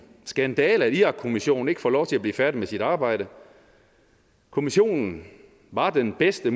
skandale at irakkommissionen ikke får lov til at blive færdig med sit arbejde kommissionen var den bedste